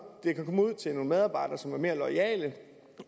og medarbejdere som er mere loyale